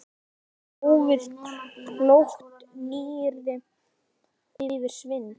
Hófið- Klókt nýyrði yfir svindl?